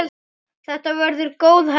Þetta verður góð helgi.